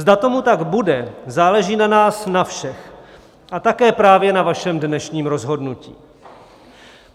Zda tomu tak bude, záleží na nás na všech a také právě na vašem dnešním rozhodnutí.